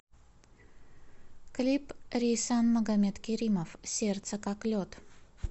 клип рейсан магомедкеримов сердце как лед